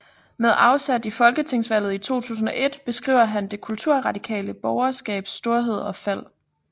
Med afsæt i folketingsvalget 2001 beskriver han det kulturradikale borgerskabs storhed og fald